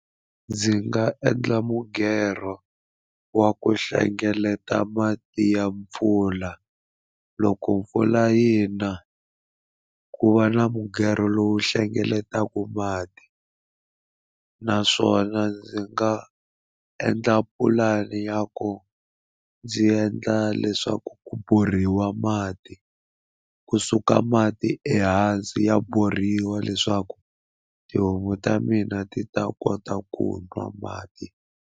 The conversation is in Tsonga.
Ndzi nga endla mughero wa ku hlengeleta mati ya mpfula loko mpfula yi na ku va na mughero lowu hlengeletaka mati naswona ndzi nga endla pulani ya ku ndzi endla leswaku ku borhiwa mati kusuka mati ehansi ya borhiwa leswaku tihomu ta mina ti ta kota ku nwa mati.